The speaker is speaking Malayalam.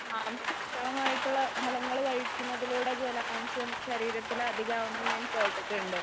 മാംസള മാംസളമായിട്ടുള്ള ഫലങ്ങള് കഴിക്കുന്നതിലൂടെ ജലാംശം ശരീരത്തിൽ അധികം ആവും എന്ന് ഞാൻ കേട്ടിട്ടുണ്ട്.